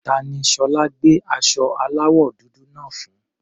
Ta ni Ṣọlá gbé aṣọ aláwọ̀ dúdú náà fún?